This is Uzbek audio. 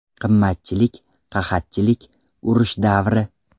Qimmatchilik, qahatchilik, urush davri.